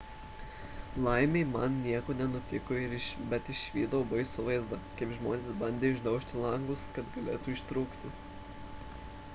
laimei man nieko nenutiko bet išvydau baisų vaizdą kai žmonės bandė išdaužti langus kad galėtų ištrūkti